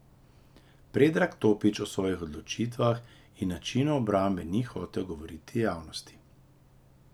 Predrag Topić o svojih odločitvah in načinu obrambe ni hotel govoriti javnosti.